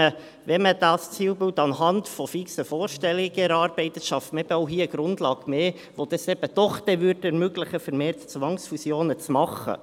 Wenn man dieses Zielbild anhand fixer Vorstellungen erarbeitet, schafft man eben auch hier eine Grundlage mehr, die es dann doch ermöglicht, vermehrt Zwangsfusionen zu machen.